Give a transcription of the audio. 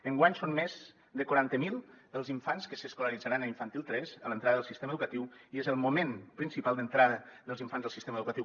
enguany són més de quaranta mil els infants que s’escolaritzaran a infantil tres a l’entrada del sistema educatiu i és el moment principal d’entrada dels infants al sistema educatiu